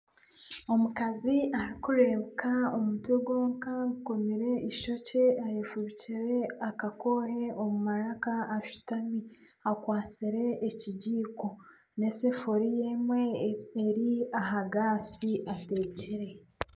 Omukazi arikureebuka omutwe gwonka ayekomire eishokye, eyefubikyere akakoohe omu maraka ashutami, akwatsire ekigiiko n'esefuriya emwe eri aha gaasi atekire